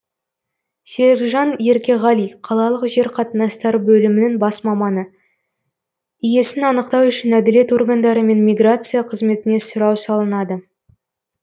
серікжан еркеғали қалалық жер қатынастары бөлімінің бас маманы иесін анықтау үшін әділет органдары мен миграция қызметіне сұрау салынады